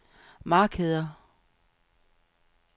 markeder